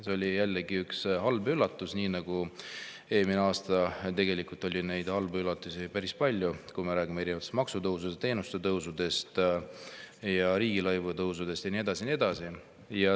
See oli jällegi üks halb üllatus, nii nagu eelmine aasta oli neid halbu üllatusi päris palju: me räägime erinevatest maksutõusudest, teenuste tasude tõusust, riigilõivude tõusust ja nii edasi ja nii edasi.